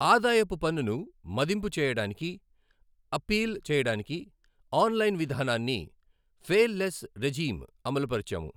ఆదాయపు పన్నును మదింపు చేయడానికి, అప్పీల్ చేయడానికి ఆన్ లైన్ విధానాన్ని ఫేల్ లెస్ రెఝీమ్ అమలుపరచాము.